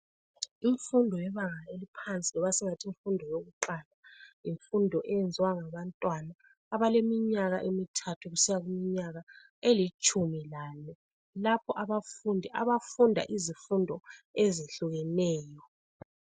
Imfundo yebanga eliphansi loba singathi imfundo yokuqala yimfundo eyenziwa ngabantwana abaleminyaka emithathu kusiya kuminyaka elitshumi lane lapho abafundi abafunda izifundo ezehlukeneyo.